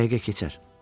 "Bu dəqiqə keçər."